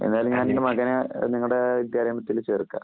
ഞാനേതായാലും എന്റെ മകനെ നിങ്ങളുടെ വിദ്യാലയത്തില്‍ ചേര്‍ക്കാം.